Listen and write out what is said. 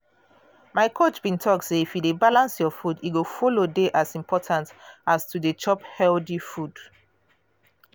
my coach bin talk say if you dey balance your food e follow dey as important as to dey chop healthy food.